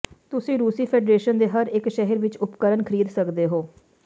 ਤੁਸੀਂ ਰੂਸੀ ਫੈਡਰੇਸ਼ਨ ਦੇ ਹਰੇਕ ਸ਼ਹਿਰ ਵਿੱਚ ਉਪਕਰਣ ਖਰੀਦ ਸਕਦੇ ਹੋ